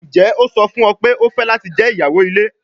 Njẹ o sọ fun ọ pe o fẹ lati jẹ iyawo ile?